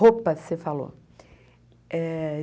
Roupas, você falou.